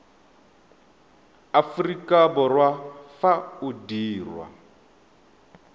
aforika borwa fa o dirwa